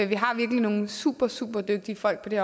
vi har virkelig nogle supersuperdygtige folk på det